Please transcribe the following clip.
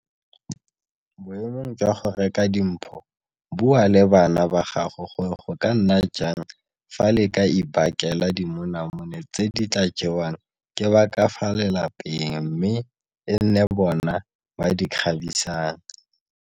Boemong jwa go reka di mpho bua le bana ba gago gore go ka nna jang fa le ka ibakela dimonamone tse di tla jewang ke ba ka fa lapeng mme e nne bona ba di kgabisang.